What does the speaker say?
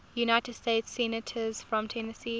united states senators from tennessee